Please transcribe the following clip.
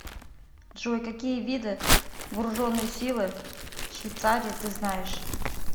джой какие виды вооруженные силы швейцарии ты знаешь